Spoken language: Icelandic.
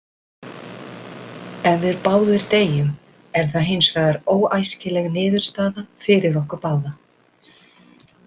Ef við báðir deyjum er það hins vegar óæskileg niðurstaða fyrir okkur báða.